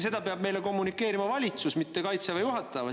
Seda peab meile kommunikeerima valitsus, mitte Kaitseväe juhataja.